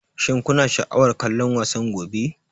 Shin kuna sha'awar kallon wasan gobe?